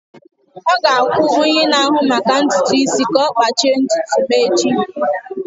Ọ ga-akwụ onye na-ahụ maka ntutu isi ka ọ kpachie ntutu m echi.